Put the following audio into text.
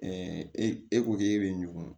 e ko k'e bɛ ɲugun